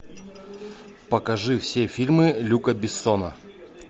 покажи все фильмы люка бессона